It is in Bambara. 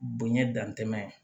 Bonɲɛ dantɛmɛ